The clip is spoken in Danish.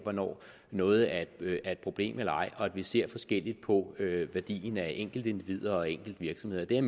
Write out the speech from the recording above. af hvornår noget er et problem eller ej og at vi ser forskelligt på værdien af enkeltindivider og enkeltvirksomheder det er